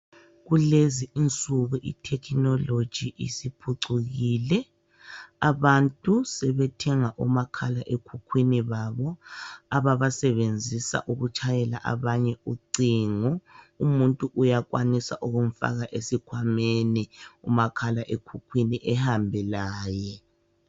Kulezi insuku ithekhinoloji isiphucukile, abantu sebethenga omakhala ekhukhwini babo ababasebenzisa ukutshayela abanye ucingo. Umuntu uyakwanisa ukumfaka esikhwameni umakhala ekhukhwini ehambe laye.